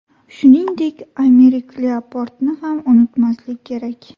Shuningdek, Aymerik Lyaportni ham unutmaslik kerak.